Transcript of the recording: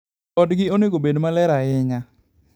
Odgi onego obed maler ahinya.